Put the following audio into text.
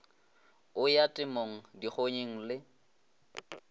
o ya temong dikgonyeng le